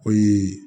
O ye